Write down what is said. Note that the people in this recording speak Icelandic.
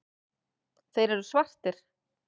Þeir eru svartir.